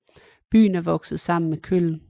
Byen er vokset sammen med Köln